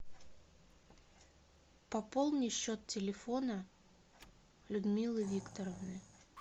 пополни счет телефона людмилы викторовны